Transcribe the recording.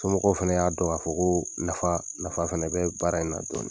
Somɔgɔw fana y'a dɔn k'a fɔ ko nafa nafa fana bɛ baara in na.